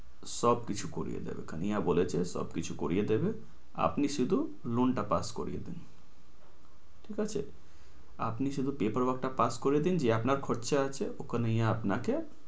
সবকিছু করিয়ে দেবে কানাইয়া বলেছে সবকিছু করিয়ে দেবে। আপনি শুধু loan টা পাশ করিয়ে দিন। ঠিক আছে? আপনি শুধু paper work টা পাশ করিয়ে দিন। যে আপনার খরচা আছে, ওখানে কানাইয়া আপনাকে সবকিছু করিয়ে দেবে। কানাইয়া বলেছে